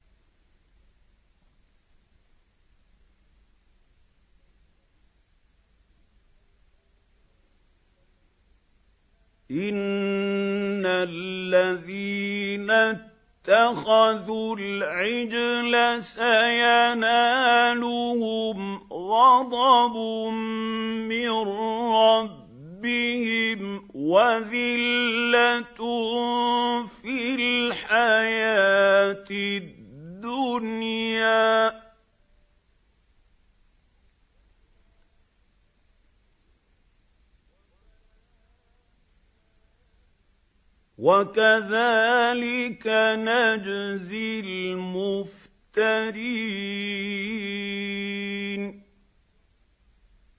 إِنَّ الَّذِينَ اتَّخَذُوا الْعِجْلَ سَيَنَالُهُمْ غَضَبٌ مِّن رَّبِّهِمْ وَذِلَّةٌ فِي الْحَيَاةِ الدُّنْيَا ۚ وَكَذَٰلِكَ نَجْزِي الْمُفْتَرِينَ